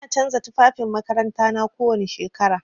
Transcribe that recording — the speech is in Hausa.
Ina canza tufafin makarantana kowani shekara.